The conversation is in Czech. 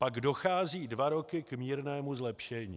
Pak dochází dva roky k mírnému zlepšení.